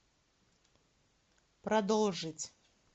продолжить